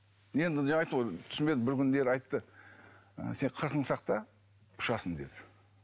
енді жаңа айттым ғой түсінбедім бір күндері айтты сен қырқыңды сақта ұшасың деді